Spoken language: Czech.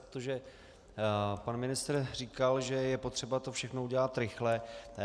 Protože pan ministr říkal, že je potřeba to všechno udělat rychle.